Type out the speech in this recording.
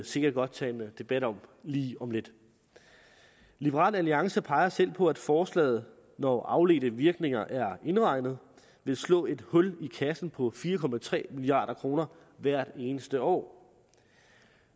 sikkert godt tage en debat om lige om lidt liberal alliance peger selv på at forslaget når afledte virkninger er indregnet vil slå et hul i kassen på fire milliard kroner hvert eneste år